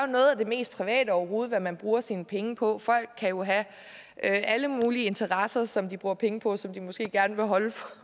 noget af det mest private overhovedet hvad man bruger sine penge på folk kan jo have alle mulige interesser som de bruger penge på og som de måske gerne vil holde